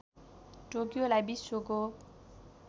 टोकियोलाई विश्वको